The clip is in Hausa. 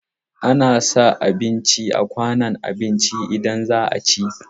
Ana sa abinci a kwanon abinci idan za a ci.